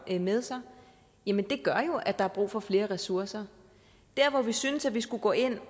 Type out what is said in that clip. med sig gør jo at der er brug for flere ressourcer der hvor vi synes at man skulle gå ind